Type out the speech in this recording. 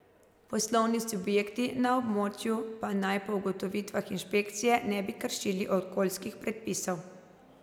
Poslovni subjekti na območju pa naj po ugotovitvah inšpekcije ne bi kršili okoljskih predpisov.